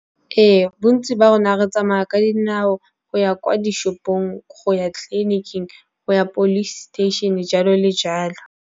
Re, bontsi ba rona re tsamaya ka dinao go ya kwa dishopong, go ya tleliniking go ya police station-e jalo le jalo.